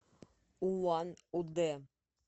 улан удэ